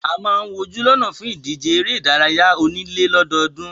A máa ń wojú lọ́nà fún ìdíje eré ìdárayá onílé lọ́dọọ́dún.